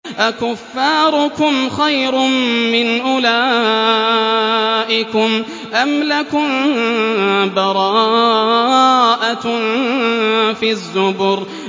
أَكُفَّارُكُمْ خَيْرٌ مِّنْ أُولَٰئِكُمْ أَمْ لَكُم بَرَاءَةٌ فِي الزُّبُرِ